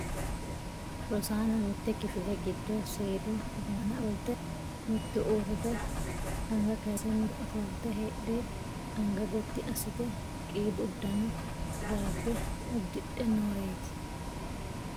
Rosaano mitte kifile giddo seedu barcimi aana ofolte, mitu uurrite anga kaayisse mitu ofolte heedhey anga gotti aasite qiidu uddano raabbe uddidhe nooreeti.